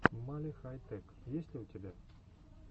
мали хай тэк есть ли у тебя